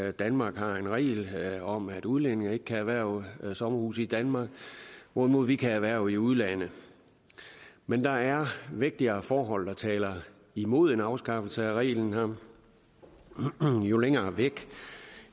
at danmark har en regel om at udlændinge ikke kan erhverve sommerhuse i danmark hvorimod vi kan erhverve i udlandet men der er vægtigere forhold der taler imod en afskaffelse af reglen her jo længere væk